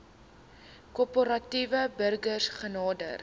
korporatiewe burgers genader